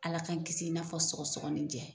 Ala k'an kisi i n'a fɔ sɔgɔsɔgɔninjɛ